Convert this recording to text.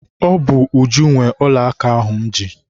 Ọ bụ Uju nwe ọla aka ahụ m ji.